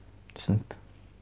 түсінікті